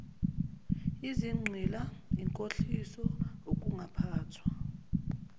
izigqila inkohliso ukungaphathwa